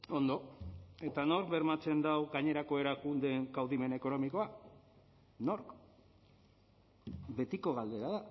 ondo eta nork bermatzen dau gainerako erakundeen kaudimen ekonomikoa nork betiko galdera